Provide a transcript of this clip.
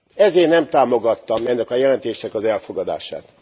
Ezért nem támogattam ennek a jelentésnek az elfogadását.